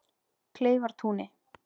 Kleifartúni